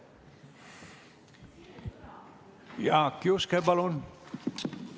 Jaak Juske, palun!